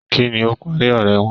Kínní o parí ọrẹ wọn?